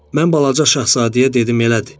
Mən balaca şahzadəyə dedim elədir.